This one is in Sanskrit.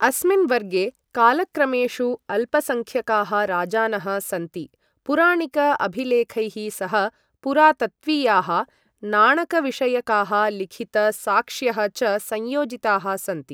अस्मिन् वर्गे कालक्रमेषु अल्पसंख्यकाः राजानः सन्ति, पुराणिक अभिलेखैः सह पुरातत्त्वीयाः, नाणकविषयकाः, लिखित साक्ष्यः च संयोजिताः सन्ति।